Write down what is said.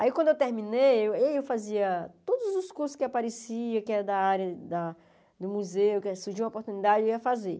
Aí quando eu terminei, eu fazia todos os cursos que apareciam, que eram da área da do museu, que surgiu uma oportunidade, eu ia fazer.